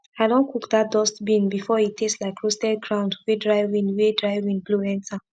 i don cook dat dust bean before e taste like roasted ground wey dry wind wey dry wind blow enter